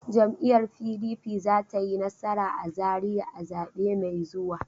Jam'iyyar PDP za ta yi nasara a Zariya a zabe mai zuwa.